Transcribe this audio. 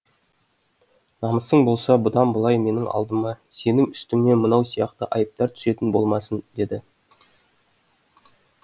намысың болса бұдан былай менің алдыма сенің үстіңнен мынау сияқты айыптар түсетін болмасын деді